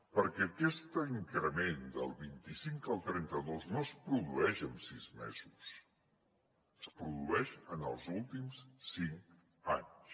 perquè aquest increment del vint i cinc al trenta dos no es produeix en sis mesos es produeix en els últims cinc anys